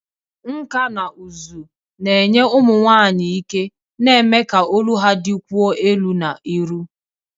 Nkà na ụzụ na-enye ụmụ nwanyị ike, na-eme ka olu ha dịkwuo elu na iru.